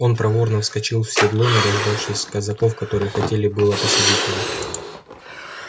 он проворно вскочил в седло не дождавшись казаков которые хотели было посадить его